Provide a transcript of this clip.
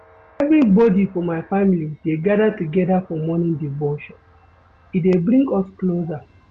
Everybodi for my family dey gather togeda for morning devotion, e dey bring us closer